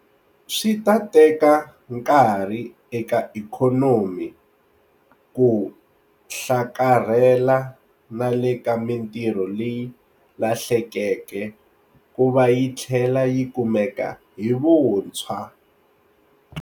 Swi ta teka nkarhi eka ikhonomi ku hlakarhela na le ka mitirho leyi lahlekeke ku va yi tlhela yi kumeka hi vuntshwa.